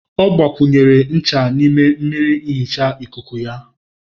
Ọ gbakwunyere ncha n'ime mmiri nhicha ikuku ya.